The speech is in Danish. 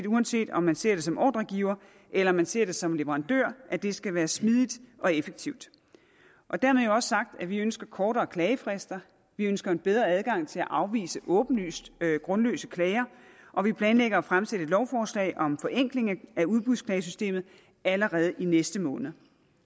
uanset om man ser det som ordregiver eller man ser det som leverandør det skal være smidigt og effektivt dermed også være sagt at vi ønsker kortere klagefrister vi ønsker en bedre adgang til at afvise åbenlyst grundløse klager og vi planlægger at fremsætte et lovforslag om forenkling af udbudsklagesystemet allerede i næste måned